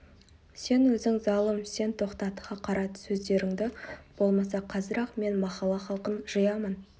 сен өзің залым сен тоқтат хақарат сөздеріңді болмаса қазір-ақ мен махалла халқын жиямын